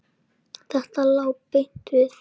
Þetta lá beint við.